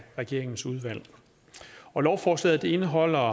regeringens udvalg lovforslaget indeholder